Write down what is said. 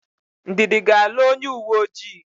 Ndidi ga-alụ onyeuweojii.